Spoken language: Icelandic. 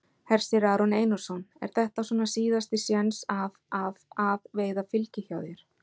Hersir Aron Einarsson: Er þetta svona síðasti séns að að að veiða fylgi hjá þér?